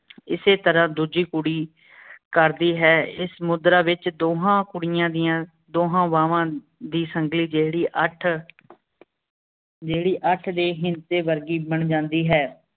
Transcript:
ਇਸੇ ਤਰ੍ਹਾਂ ਦੂਜੀ ਕੁੜੀ ਕਰਦੀ ਹੈਂ ਇਸ ਮੁਦ੍ਰਾ ਵਿਚ ਦੋਨ੍ਹਾਂ ਕੁੜੀਆਂ ਦੀਆਂ ਦੋਹਾਂ ਬਾਵਾਂ ਦੀ ਸਨ੍ਘ੍ਲੀ ਜੇੜੀ ਅਠ ਜੇਹੜੀ ਅਠ ਦੇ ਵਰਗੀ ਬਣ ਜਾਂਦੀ ਹੈਂ